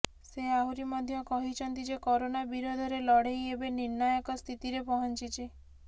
ସେ ଆହୁରି ମଧ୍ୟ କହିଛନ୍ତି ଯେ କରୋନା ବିରୋଧରେ ଲଢ଼େଇ ଏବେ ନିର୍ଣ୍ଣାୟକ ସ୍ଥିତିରେ ପହଞ୍ଚିଛି